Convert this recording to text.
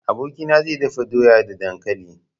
Abokina zai dafa doya da dankali.